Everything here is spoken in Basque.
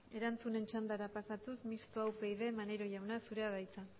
erantzunen txandara pasatuz mistoa upyd maneiro jauna zurea da hitza